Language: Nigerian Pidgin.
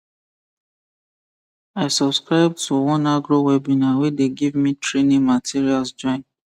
i subscribe to one agro webinar wey dey give me training materials join